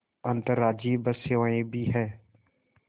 अंतर्राज्यीय बस सेवाएँ भी हैं